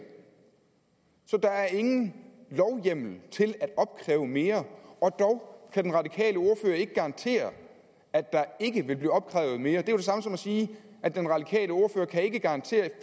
så der er ingen lovhjemmel til at opkræve mere og dog kan den radikale ordfører ikke garantere at der ikke vil blive opkrævet mere det er jo det samme som at sige at den radikale ordfører ikke kan garantere